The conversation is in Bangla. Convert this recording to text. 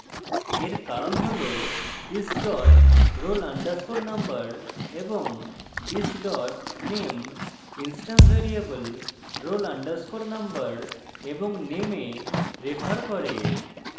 এর কারণ roll this dot roll _ number এবং this dot name instance variable roll _ number এবং name এ refer করে